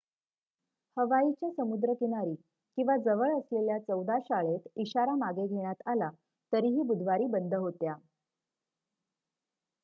हवाईच्या समुद्र किनारी किंवा जवळ असलेल्या चौदा शाळेत इशारा मागे घेण्यात आला तरीही बुधवारी बंद होत्या